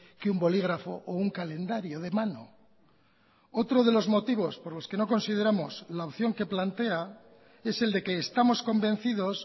que un bolígrafo o un calendario de mano otro de los motivos por los que no consideramos la opción que plantea es el de que estamos convencidos